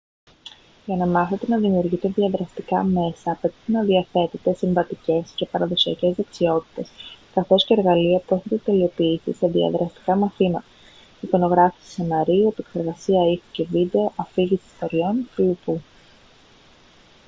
για να μάθετε να δημιουργείτε διαδραστικά μέσα απαιτείται να διαθέτετε συμβατικές και παραδοσιακές δεξιότητες καθώς και εργαλεία που έχετε τελειοποιήσει σε διαδραστικά μαθήματα εικονογράφηση σεναρίου επεξεργασία ήχου και βίντεο αφήγηση ιστοριών κ.λπ.